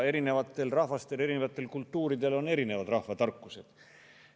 Erinevatel rahvastel, erinevatel kultuuridel on erinevad rahvatarkused.